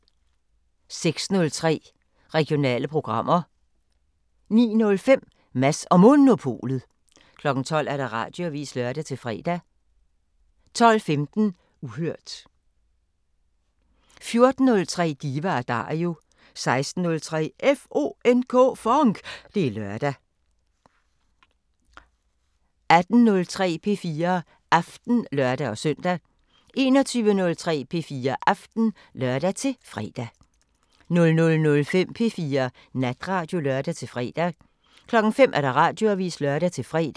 06:03: Regionale programmer 09:05: Mads & Monopolet 12:00: Radioavisen (lør-fre) 12:15: Uhørt 14:03: Diva & Dario 16:03: FONK! Det er lørdag 18:03: P4 Aften (lør-søn) 21:03: P4 Aften (lør-fre) 00:05: P4 Natradio (lør-fre) 05:00: Radioavisen (lør-fre)